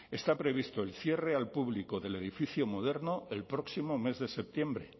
está previsto el cierre al público del edificio moderno el próximo mes de septiembre